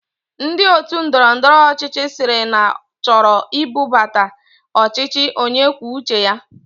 Ndi otu Ndọrọ ndọrọ ọchịchị siri na choro ibuta ọchịchị onye kwuo uche ya